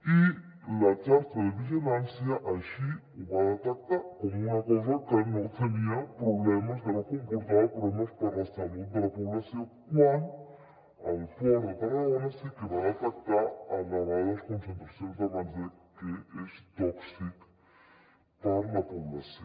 i la xarxa de vigilància així ho va detectar com una cosa que no tenia problemes que no comportava problemes per a la salut de la població quan el port de tarragona sí que va detectar elevades concentracions de benzè que és tòxic per a la població